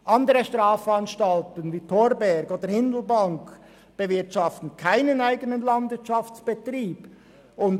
Andere Strafanstalten wie die der Thorberg oder Hindelbank bewirtschaften keine eigenen Landwirtschaftsbetriebe.